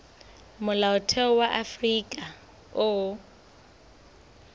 molaotheo wa afrika borwa o